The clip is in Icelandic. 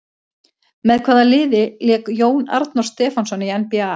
Með hvaða liði lék Jón Arnór Stefánsson í NBA?